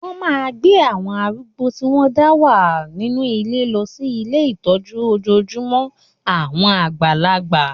Wọ́n máa gbé àwọn arúgbó tí wọ́n ń dá wà nínú ilé lọ sí ilé ìtọ́jú ojojúmọ́ àwọn àgbàlagbà.